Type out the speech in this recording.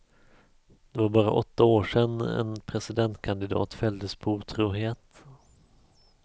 Det var bara åtta år sedan en presidentkandidat fälldes på otrohet.